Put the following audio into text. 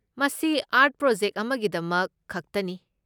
ꯃꯁꯤ art project ꯑꯃꯒꯤꯗꯃꯛ ꯈꯛꯇꯅꯤ꯫